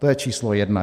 To je číslo jedna.